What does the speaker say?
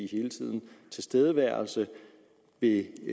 hele tiden tilstedeværelse ved